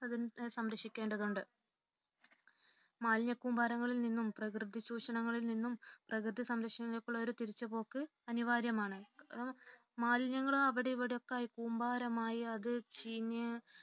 പ്രകൃതിയെ സംരക്ഷിക്കേണ്ടതുണ്ട് മാലിന്യ കൂമ്പാരങ്ങളിൽ നിന്നും പ്രകൃതി ചൂഷണങ്ങളിൽ നിന്നും പ്രകൃതി സംരക്ഷണത്തിലേക്കു ഒരു തിരിച്ചു പോക്ക് അനിവാര്യമാണ് അപ്പോൾ മാലിന്യങ്ങൾ അവിടെ ഇവിടെ ഒക്കെ കൂമ്പാരമായി അത് ചീഞ്ഞു